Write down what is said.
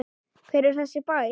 Hver er þessi bær?